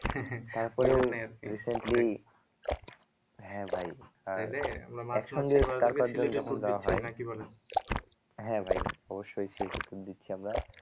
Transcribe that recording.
recently হ্যাঁ ভাই হ্যাঁ ভাই অবশ্যই সেই দিচ্ছি আমরা